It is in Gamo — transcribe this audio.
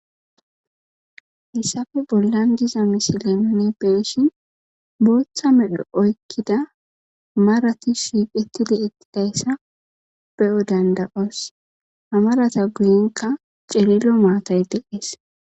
hissafe bollan diza misileemone peeshin booththa medho oykkida marati shiiqetidi ettidayssa be7o danda7oos hamarata guyenka celilo maatay deees